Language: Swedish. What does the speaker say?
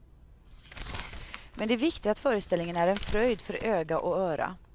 Men det är viktigt att föreställningen är en fröjd för öga och öra.